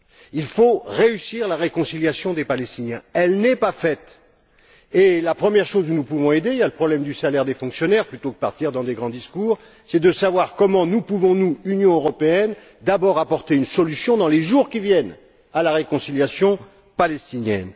Il faut réussir la réconciliation des Palestiniens, elle n'est pas faite. Et la première chose que nous pouvons faire pour aider il y a le problème du salaire des fonctionnaires plutôt que de partir dans de grands discours c'est de déterminer comment nous pouvons, nous, Union européenne, d'abord apporter une solution, dans les jours qui viennent, à la réconciliation palestinienne.